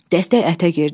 Dəstək ətə girdi.